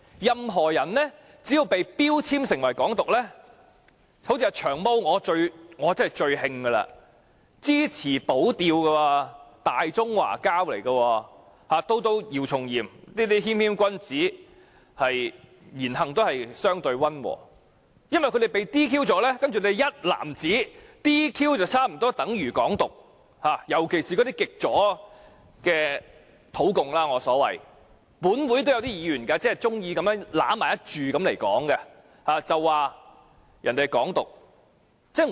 任何人只要被標籤為"港獨"，像最令我不解的"長毛"這種支持"保釣"的"大中華膠"，以至姚松炎這種言行相對溫和的謙謙君子，單單因為被撤銷議員資格便被一籃子地視為"港獨"分子，特別是那些所謂極左的土共。